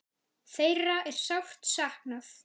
Þeirra er sárt saknað.